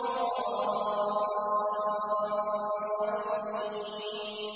وَكُنَّا قَوْمًا ضَالِّينَ